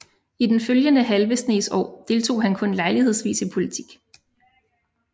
I den følgende halve snes år deltog han kun lejlighedsvis i politik